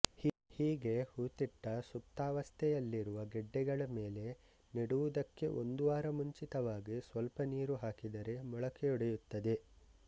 ಹೀಗೆ ಹೂತಿಟ್ಟು ಸುಪ್ತಾವಸ್ಥೆಯಲ್ಲಿರುವ ಗೆಡ್ಡೆಗಳ ಮೇಲೆ ನೆಡುವುದಕ್ಕೆ ಒಂದು ವಾರ ಮುಂಚಿತವಾಗಿ ಸ್ವಲ್ಪ ನೀರು ಹಾಕಿದರೆ ಮೊಳಕೆಯೊಡೆಯುತ್ತದೆ